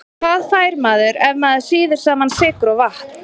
Hvað fær maður ef maður sýður saman sykur og vatn?